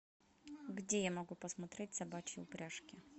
где я могу посмотреть собачьи упряжки